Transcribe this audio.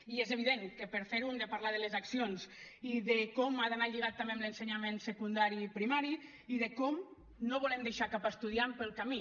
i és evident que per fer ho hem de parlar de les accions i de com ha d’anar lligat també amb l’ensenyament secundari i primari i de com no volem deixar cap estudiant pel camí